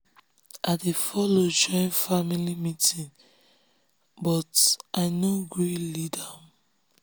i dey follow join family meeting but i um nor gree um lead am.